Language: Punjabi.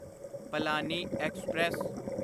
ਪਲਾਨੀ ਐਕਸਪ੍ਰੈਸ